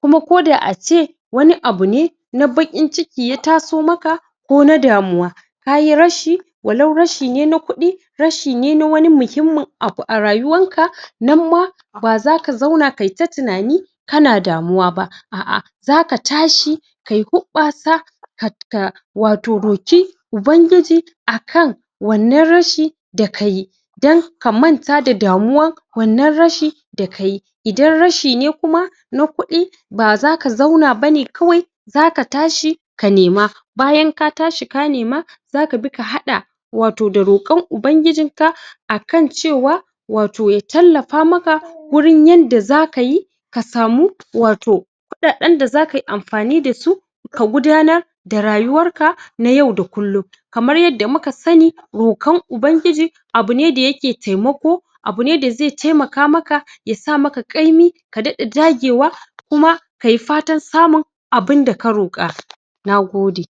kuma koda ace wani abu ne na bakin ciki ya taso maka ko na damuwa kayi rashi walau rashi ne na kudi rashi ne na wani muhimman wani abu arayuwanka nanma bazaka zauna kayita tunani kana damuwa ba a'a zaka tashi kayi hubbasa at ka wato roki Ubangiji akan wannan rashi dakayi dan ka manta da damuwan wannan rashi dakayi idan rashi ne kuma na kudi bazaka zauna bane kawai zaka tashi ka nema bayan ka tashi ka nema zakabi ka hada wato da rokon Ubangijinka akan cewa wato ya tallafa maka wurin yanda zakayi kasamu wato kudaden da zakayi amfani dasu ka gudanar da rayuwarka na yau da kullum kamar yadda muka sani rokan Ubangiji abu ne dayakeda taimako abu ne daze taimaka maka yasa maka kaimi ka dada dagewa kuma kayi fatan samun abunda ka roka nagode